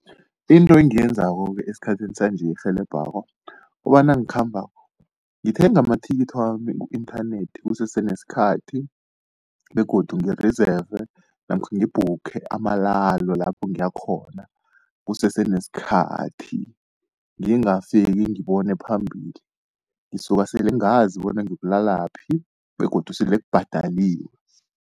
Into engiyenzako-ke esikhathini sanje erhelebhako, kukobana nangikhambako ngithenga amathikithi wami ku-inthanethi kusese nesikhathi. Begodu ngi-reserve namkha ngibhukhe amalalo lapho ngiyakhona kusese nesikhathi. Ngingafiki ngibone phambili, ngisuka sele ngazi bona ngiyokulalaphi begodu sele kubhadaliwe.